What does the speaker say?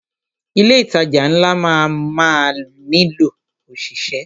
Ilé ìtajà ńlá máa má nílò ọ̀ṣìṣẹ́.